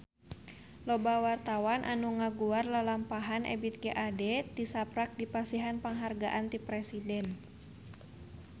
Loba wartawan anu ngaguar lalampahan Ebith G. Ade tisaprak dipasihan panghargaan ti Presiden